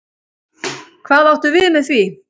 Hvað áttu við með því?